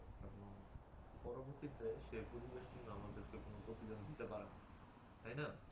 পরবর্তীতে সেই পরিবেশ কিন্তু আমাদেরকে কোন প্রতিদান দিতে পারে না, তাই না?